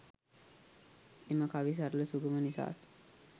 එම කවි සරල සුගම නිසාත්,